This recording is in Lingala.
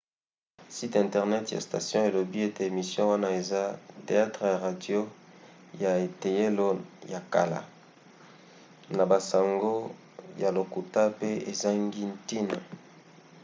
site internet ya station elobi ete emission wana eza teyatre ya radio ya eteyelo ya kala na basango ya lokuta pe ezangi ntina!